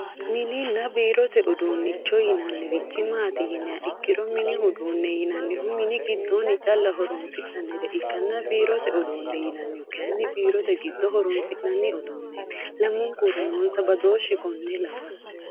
mininna biirote uduunnicho yinannirichi maati yiniha ikkiro mini uduunne yinannihu mini giddoonni calla horonsi'nannire ikkanna biirote uduunne yinannihu kayiinni biirote giddo horonsi'nanni uduunneeti, lamunkura noons abdooshhsi konne lawanno.